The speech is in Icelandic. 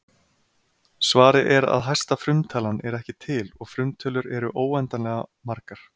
Svarið er að hæsta frumtalan er ekki til og frumtölur eru óendanlega margar.